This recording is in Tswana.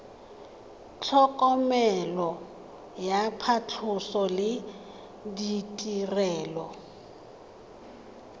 tlhokomelo ya phatlhoso le ditirelo